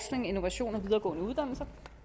resultatet og